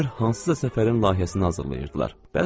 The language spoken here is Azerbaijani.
Görünür, hansısa səfərin layihəsini hazırlayırdılar.